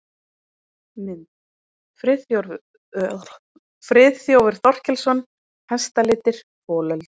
Mynd: Friðþjófur Þorkelsson: Hestalitir- folöld.